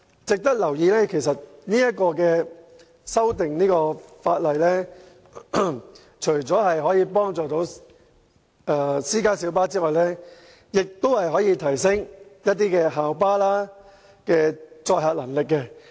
值得留意的是，這項《條例草案》除可幫助私家小巴外，亦有助提升校巴的載客能力。